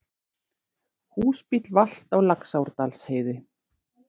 Húsbíll valt á Laxárdalsheiði